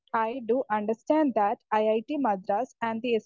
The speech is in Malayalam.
speaker 1 I too understand that IIT Madras and the